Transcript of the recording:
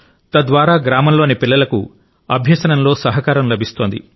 తద్వారా గ్రామంలోని పిల్లలకు అభ్యసనంలో సహకారం లభిస్తోంది